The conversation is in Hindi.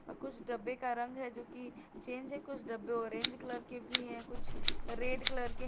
कुछ डब्बे का रंग है जो की चेंज है कुछ डब्बे ऑरेंज कलर की भी है कुछ रेड कलर के --